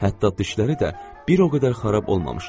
Hətta dişləri də bir o qədər xarab olmamışdı.